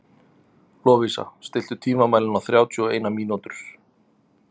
Lovísa, stilltu tímamælinn á þrjátíu og eina mínútur.